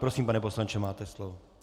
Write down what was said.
Prosím, pane poslanče, máte slovo.